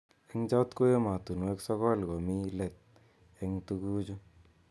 Eng chot ko emotunwek sokol komi let eng tukuju.